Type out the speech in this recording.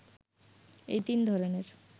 এই তিন ধরনের